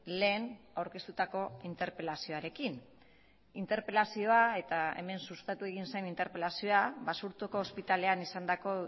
lehen aurkeztutako interpelazioarekin interpelazioa eta hemen sustatu egin zen interpelazioa basurtoko hospitalean izandako